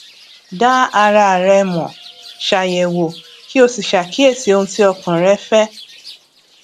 dá ara rẹ mọ ṣàyẹwò kí o sì ṣàkíyèsí ohun tí ọkàn rẹ fẹ